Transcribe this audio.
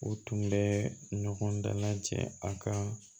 U tun bɛ ɲɔgɔn dala cɛ a ka